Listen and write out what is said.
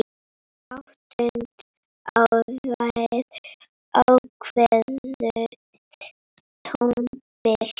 Áttund á við ákveðið tónbil.